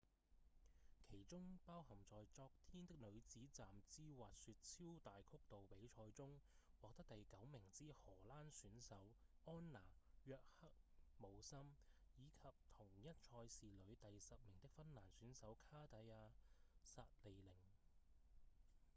其中包含在昨天的女子站姿滑雪超大曲道比賽中獲得第九名之荷蘭選手安娜‧約赫姆森以及同一賽事裡第十名的芬蘭選手卡蒂亞·薩利寧